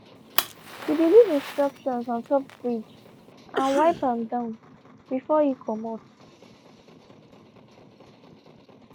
she be leave instructions ontop fridge and wiped am down before e comot.